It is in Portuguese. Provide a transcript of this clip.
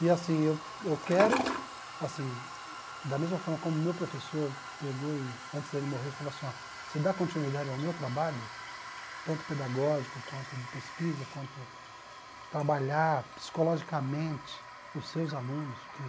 E assim eu eu quero, assim, da mesma forma como meu professor pegou e, antes dele morrer, falou assim, você dá continuidade ao meu trabalho, tanto pedagógico quanto de pesquisa, quanto trabalhar psicologicamente os seus alunos porque